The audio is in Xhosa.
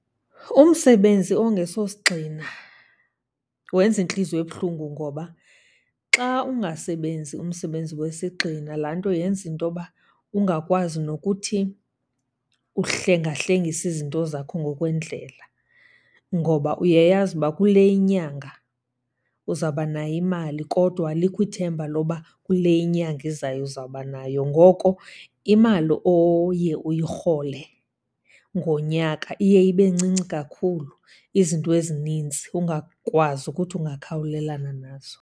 Umsebenzi ongesosigxina wenza intliziyo ebuhlungu ngoba xa ungasebenzi umsebenzi wesigxina, laa nto yenza intoba ungakwazi nokuthi uhlengahlengise izinto zakho ngokwendlela. Ngoba uyayazi uba kule inyanga uzawubanayo imali kodwa alikho ithemba loba kule inyanga izayo uzawubanayo. Ngoko imali oye uyirhole ke ngonyaka iye ibe ncinci kakhulu, izinto ezinintsi ungakwazi ukuthi ungakhawulelana nazo.